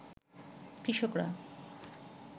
কৃষকরা